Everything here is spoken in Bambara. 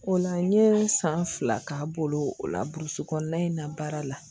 O la n ye san fila k'a bolo o la burusi kɔnɔna in na baara la